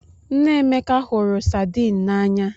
Nne Emeka hụrụ Saidin n'anya